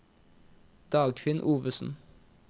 Dagfinn Ovesen